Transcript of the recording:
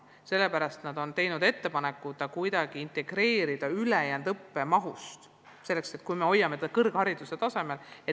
Sellepärast nad on teinud ettepaneku kuidagi integreerida viipekeeleõpe teistesse erialadesse ja hoida see siiski kõrghariduse tasemel.